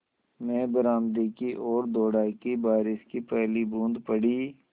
मैं बरामदे की ओर दौड़ा कि बारिश की पहली बूँद पड़ी